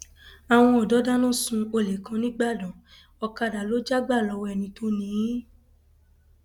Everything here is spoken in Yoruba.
àwọn ọdọ dáná sun olè kan nígbàdàn ọkadà ló já gbà lọwọ ẹni tó ni ín